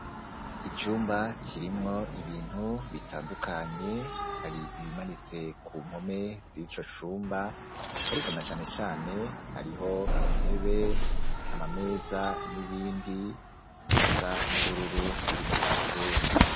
Icumba, kirimwo ibintu bitandukanye; hari ibimanitse ku mpome z'ico cumba, ariko na cane cane, hariho intebe, amameza n'ibindi, bisa n'ubururu, biri muri ico cumba.